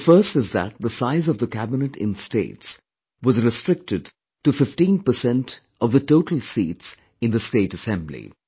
First one is that the size of the cabinet in states was restricted to 15% of the total seats in the state Assembly